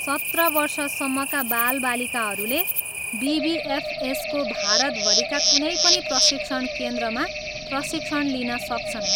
सत्र वर्ष सम्मका बालबालिकाहरूले बिबिएफएसको भारतभरिका कुनै पनि प्रशिक्षण केन्द्रमा प्रशिक्षण लिन सक्छन्।